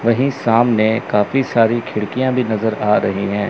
वहीं सामने काफी सारी खिड़कियां भी नजर आ रही हैं।